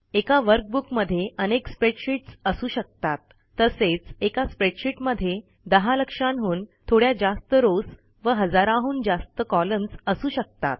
एका वर्कबुकमध्ये अनेक स्प्रेडशीटस् असू शकतात तसेच एका स्प्रेडशीटमध्ये दहा लक्षांहून थोड्या जास्त रॉव्स व हजाराहून जास्त कॉलम्न्स असू शकतात